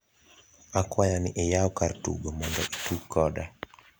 akwayo ni iyao kar tugo mondo itug koda